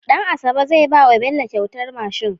Dan asabe zai bawa Bello kyautar mashin